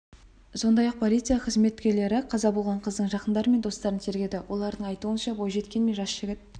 сондай-ақ полиция қызметкерлері қаза болған қыздың жақындары мен достарын тергеді олардың айтуынша бойжеткен мен жас жігіт